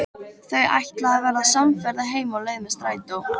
Þau ætla að verða samferða heim á leið með strætó.